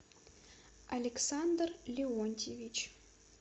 александр леонтьевич